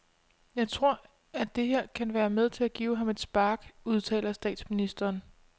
Jeg tror, at det her kan være med til at give ham et spark, udtaler statsministeren.